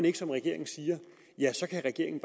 ikke som regeringen siger ja så kan regeringen